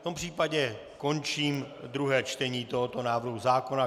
V tom případě končím druhé čtení tohoto návrhu zákona.